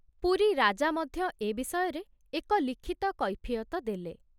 ପୁରୀ ରାଜା ମଧ୍ୟ ଏ ବିଷୟରେ ଏକ ଲିଖିତ କୈଫିୟତ ଦେଲେ।